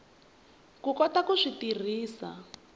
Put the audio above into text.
ku kota ku swi tirhisa